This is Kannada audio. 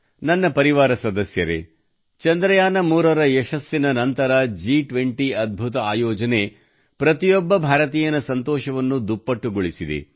ನನ್ನ ಪರಿವಾರ ಸದಸ್ಯರೆ ಚಂದ್ರಯಾನ3 ರ ಯಶಸ್ಸಿನ ನಂತರ G20 ರ ಅದ್ಭುತ ಆಯೋಜನೆ ಪ್ರತಿಯೊಬ್ಬ ಭಾರತೀಯನ ಸಂತೋಷವನ್ನು ದುಪ್ಪಟ್ಟುಗೊಳಿಸಿದೆ